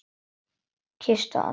Kysstu alla frá mér.